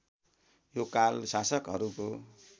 यो काल शासकहरूको